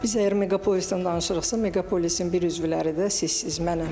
Biz əgər meqapolisdən danışırıqsa, meqapolisin bir üzvləridir də, siz, mənəm.